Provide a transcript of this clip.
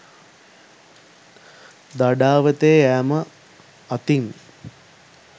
දඩාවතේ යෑම අතින්